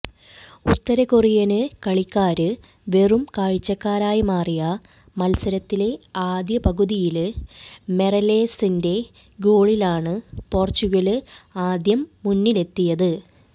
ഉത്തരകൊറിയന് കളിക്കാര് വെറും കാഴ്ചക്കാരായി മാറിയ മത്സരത്തിലെ ആദ്യ പകുതിയില് മൊറേലസിന്റെ ഗോളിലാണ് പോര്ച്ചുഗല് ആദ്യം മുന്നിലെത്തിയത്